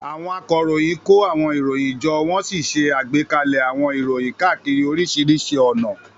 Àwọn akọ̀ròyìn kó àwọn ìròyìn jọ wọ́n sì ṣe àgbékalẹ̀ àwọn ìròyìn káàkiri oríṣiríṣi ọ̀nà.